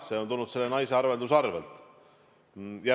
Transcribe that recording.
See on tulnud selle naise arvelduskontolt.